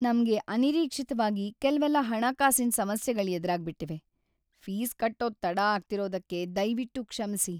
ನಮ್ಗೆ ಅನಿರೀಕ್ಷಿತ್ವಾಗಿ ಕೆಲ್ವೆಲ್ಲ ಹಣಕಾಸಿನ್‌ ಸಮಸ್ಯೆಗಳ್‌ ಎದ್ರಾಗ್ಬಿಟಿವೆ. ಫೀಸ್‌ ಕಟ್ಟೋದ್ ತಡ ಆಗ್ತಿರೋದಕ್ಕೆ ದಯ್ವಿಟ್ಟು ಕ್ಷಮ್ಸಿ.